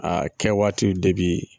Aa kɛwaatiw de bi